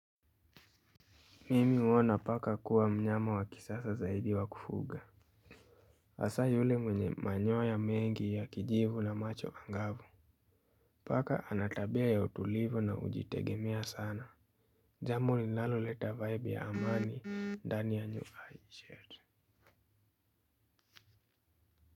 Mimi huona paka kuwa mnyama wa kisasa zaidi wa kufuga. Hasa yule mwenye manyoya mengi ya kijivu na macho angavu. Paka anatabia ya utulivu na hujitegemea sana. Jambo linaloleta vibe ya amani, ndani ya nyuhai shirt.